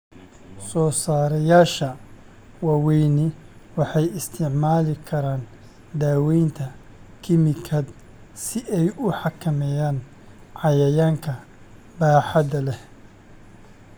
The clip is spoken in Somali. Soosaarayaasha waaweyni waxay isticmaali karaan daawaynta kiimikaad si ay u xakameeyaan cayayaanka baaxadda leh.